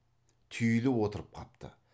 түйіліп отырып қапты